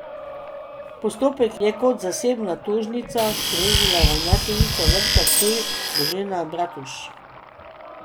Postopek je kot zasebna tožnica sprožila ravnateljica Vrtca Ptuj Božena Bratuž.